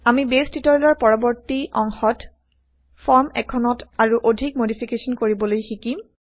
আমি বেইছ টিউটৰিয়েলৰ পৰৱৰ্তী অংশত ফৰ্ম এখনত আৰু অধিক মডিফিকেশ্যন কৰিবলৈ শিকিম